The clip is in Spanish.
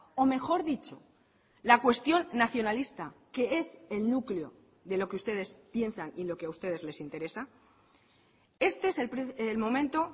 o mejor dicho la cuestión nacionalista que es el núcleo de lo que ustedes piensan y lo que a ustedes les interesa este es el momento